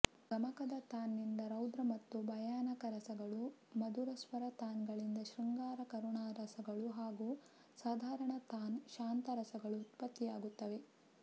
ಗಮಕದ ತಾನ್ ನಿಂದ ರೌದ್ರ ಮತ್ತು ಭಯಾನಕರಸಗಳೂ ಮಧುರಸ್ವರ ತಾನಗಳಿಂದ ಶೃಂಗಾರ ಕರುಣರಸಗಳೂ ಹಾಗೂ ಸಾಧಾರಣ ತಾನ್ ಶಾಂತರಸಗಳು ಉತ್ಪತ್ತಿಯಾಗುತ್ತವೆ